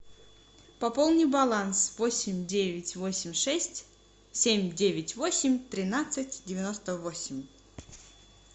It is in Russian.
пополни баланс восемь девять восемь шесть семь девять восемь тринадцать девяносто восемь